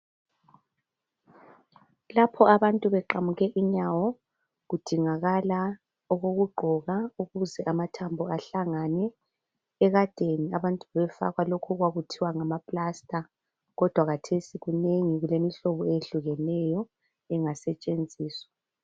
Lapho abantu beqamuke inyawo kudingakala okokugqoka ukuze amathambo ahlangane ekadeni abantu bebefakwa lokhu okwakuthiwa ngama plast okulemihlobo etshiyeneyo engasetshenziswa.